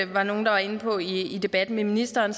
var nogle der var inde på i debatten med ministeren